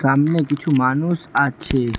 আমনে কিছু মানুষ আছে।